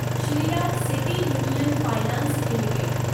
Shriram City Union Finance limited